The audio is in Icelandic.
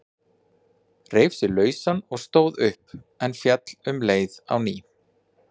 Reif sig lausan og stóð upp, en féll um leið á ný.